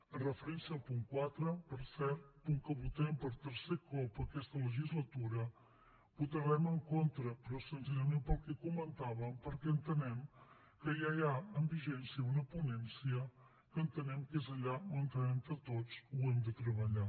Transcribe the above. amb referència al punt quatre per cert punt que votem per tercer cop aquesta legislatura votarem en contra però senzillament pel que comentàvem perquè entenem que ja hi ha en vigència una ponència que entenem que és allà on entre tots ho hem de treballar